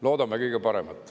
Loodame kõige paremat.